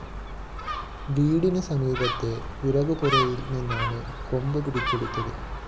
വീടിന് സമീപത്തെ വിറകുപുരയില്‍ നിന്നാണ് കൊമ്പ് പിടിച്ചെടുത്തത്